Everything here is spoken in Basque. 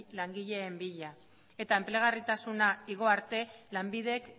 langileen bila eta enplegarritasuna igo arte lanbidek